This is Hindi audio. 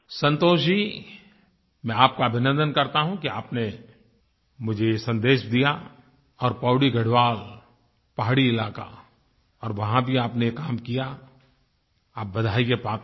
संतोष जी मैं आपका अभिनन्दन करता हूँ कि आपने मुझे ये संदेश दिया और पौड़ी गढ़वाल पहाड़ी इलाका और वहाँ भी आपने काम किया आप बधाई के पात्र हैं